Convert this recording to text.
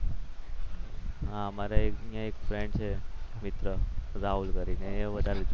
હા મારે એક ફ્રેન્ડ છે મિત્ર રાહુલ કરીને એ વધારે જુએ છે.